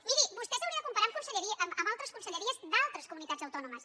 miri vostè s’hauria de comparar amb altres conselleries d’altres comunitats autònomes